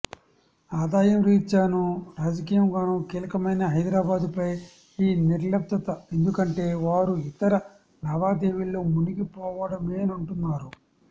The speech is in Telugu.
ఆదాయం రీత్యానూ రాజకీయంగానూ కీలకమైన హైదరాబాదుపై ఈ నిర్లిప్తత ఎందుకంటే వారు ఇతర లావాదేవీల్లో మునిగిపోవడమేనంటున్నారు